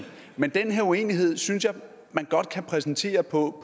men den her uenighed synes jeg man godt kan præsentere på